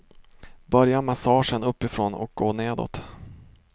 Börja massagen uppifrån och gå nedåt.